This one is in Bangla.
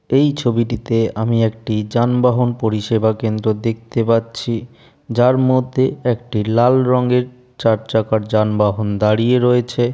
এই ছবিটিতে আমি একটি যানবাহন পরিষেবা কেন্দ্র দেখতে পাচ্ছি। যার মধ্যে একটি লাল রঙের চার চাকার যানবাহন দাঁড়িয়ে রয়েছে।